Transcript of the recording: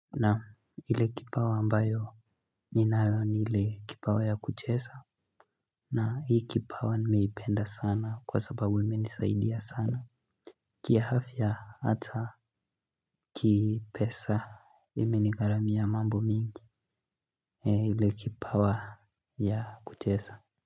Naam, ile kipawa ambayo ninayo ni ile kipawa ya kucheza. Na hii kipawa nimeipenda sana kwa sababu imenisaidia sana. Kiafya hata kipesa imenigharamia mambo mingi. Ile kipawa ya kucheza.